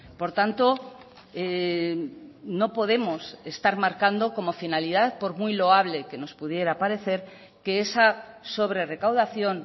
por tanto no podemos estar marcando como finalidad por muy loable que nos pudiera parecer que esa sobre recaudación